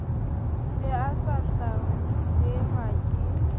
be a sa hlahelwa ke